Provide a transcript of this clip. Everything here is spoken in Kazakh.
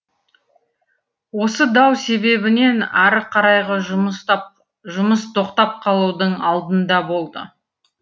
осы дау себебінен ары қарайғы жұмыс тап жұмыс тоқтап қалудың алдында болды